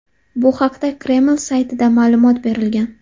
Bu haqda Kreml saytida ma’lumot berilgan .